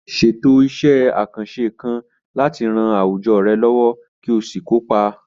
Ṣètò iṣẹ́ àkànṣe kan láti ran àwùjọ rẹ lọ́wọ́ kí o sì kópa.